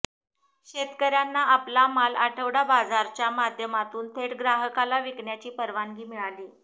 शेतकर्यांना आपला माल आठवडा बाजारच्या माध्यमातून थेट ग्राहकाला विकण्याची परवानगी मिळाली